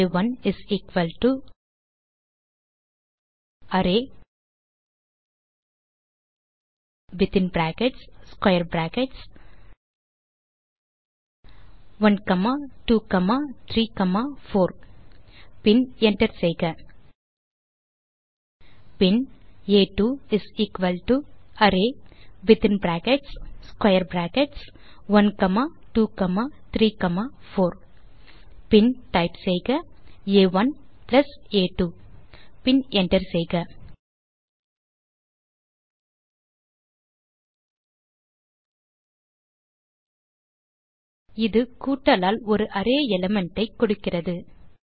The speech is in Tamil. ஆ1 அரே வித்தின் brackets square brackets 1 comma 2 comma 3 comma 4 பின் என்டர் செய்க பின் ஆ2 அரே வித்தின் brackets square brackets 1 comma 2 comma 3 comma 4 பின் டைப் செய்க ஆ1 ஆ2 பின் என்டர் செய்க இது கூட்டலால் ஒரு அரே எலிமெண்ட் ஐ கொடுக்கிறது